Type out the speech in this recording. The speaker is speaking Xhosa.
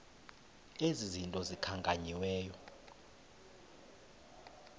ezi zinto zikhankanyiweyo